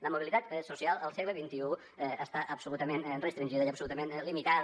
la mobilitat social al segle xxi està absolutament restringida i absolutament limitada